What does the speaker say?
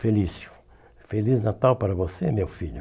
Felício, feliz Natal para você, meu filho.